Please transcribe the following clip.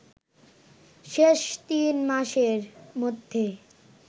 শেষ তিন মাসের মধ্যে